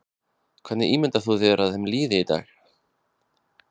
Hvernig ímyndar þú þér að þeim líði í dag?